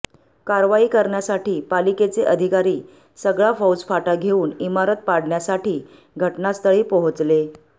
कारवाई करण्यासाठी पालिकेचे अधिकारी सगळा फौजफाटा घेऊन इमारत पाडण्यासाठी घटनास्थळी पोहचले